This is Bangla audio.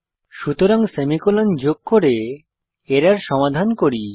সুতরাং সেমিকোলন যোগ করে এরর সমাধান করি